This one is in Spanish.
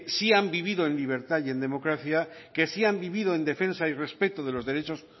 sí han vivido en libertad y en democracia que sí han vivido en defensa y respeto de los derechos